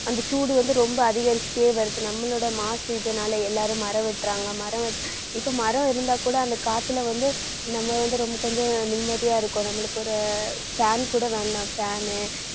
அந்த சூடு வந்து ரொம்ப அதிகரிச்சுட்டே வருது. நம்மளோட மாசு இதனால எல்லாரும் மரம் வெட்டுறாங்க. மரம் இப்ப மரம் இருந்தா கூட அந்த காத்துல வந்து நம்ம வந்து ரொம்ப கொஞ்சம் நிம்மதியா இருக்கும். நம்மளுக்கு ஒரு fan கூட வேண்டாம் fan னு